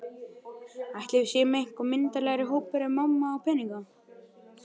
Ætli við séum eitthvað myndarlegri hópur ef mamma á peninga?